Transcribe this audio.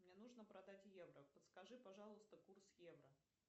мне нужно продать евро подскажи пожалуйста курс евро